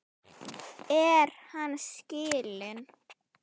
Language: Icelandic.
Er hann skilinn?